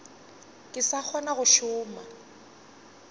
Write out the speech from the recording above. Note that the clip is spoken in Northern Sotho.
ke sa kgona go šoma